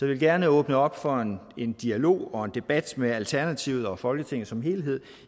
vil gerne åbne op for en dialog og en debat med alternativet og folketinget som helhed